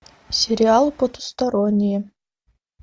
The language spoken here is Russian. сериал потустороннее